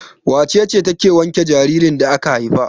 Wace ce take wanke jaririn da aka haifa?